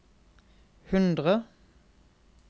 hundre